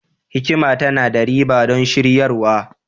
hikima tana da riba don shiryarwa